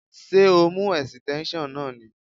Ṣé o mú esíténsion náà ni?